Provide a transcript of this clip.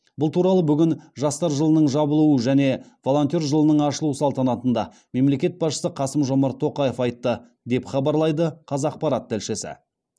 бұл туралы бүгін жастар жылының жабылуы және волонтер жылының ашылуы салтанатында мемлекет басшысы қасым жомарт тоқаев айтты деп хабарлайды қазақпарат тілшісі